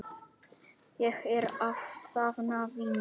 Ég er að safna vinum.